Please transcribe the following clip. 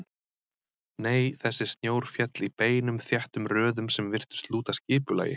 Nei, þessi snjór féll í beinum þéttum röðum sem virtust lúta skipulagi.